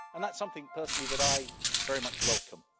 And that is something, personally, that I very much welcome.